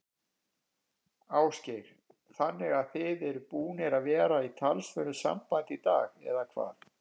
Ásgeir: Þannig að þið eruð búnir að vera í talsverðu sambandi í dag, eða hvað?